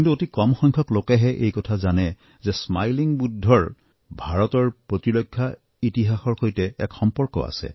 কিন্তু অতি কম সংখ্যক লোকেহে এই কথা জানে যে স্মাইলিং বুদ্ধৰ ভাৰতৰ প্ৰতিৰক্ষা ইতিহাসৰ সৈতে এক সম্পৰ্ক আছে